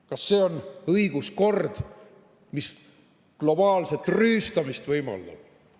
Kas see on õiguskord, mis globaalset rüüstamist võimaldab?